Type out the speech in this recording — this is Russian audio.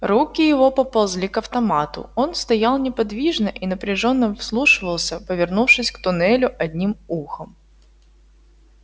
руки его поползли к автомату он стоял неподвижно и напряжённо вслушивался повернувшись к туннелю одним ухом